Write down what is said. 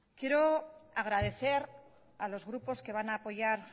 quiero agradecer a los grupos que van a apoyar